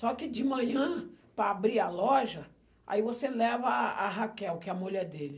Só que de manhã, para abrir a loja, aí você leva a a Raquel, que é a mulher dele.